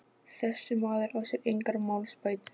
Þessi maður á sér engar málsbætur.